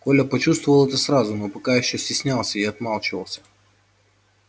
коля почувствовал это сразу но пока ещё стеснялся и отмалчивался